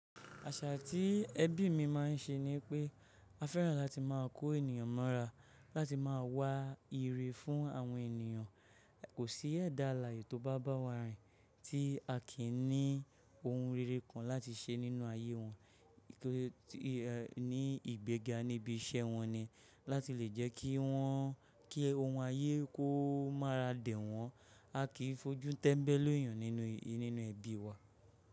Àṣà tí ẹbí mi ma ń ṣe ni pé a fẹ́ràn láti má a kó ènìyàn mọ́ra, láti má a wá ire fún àwọn ènìyàn. Kò sí ẹ̀dà alààyè tó bá bà wá rìn tí a kì í ní ohun rere kan láti ṣe nínú ayé wọn, ní ìgbéga níbi iṣẹ́ wọn ni, láti lè jẹ́ kí wọ́n, kí ohun ayé kó mára dè wọ́n. A kì í fojú tẹ́mbẹ́lú èyàn nínú ẹbí wa.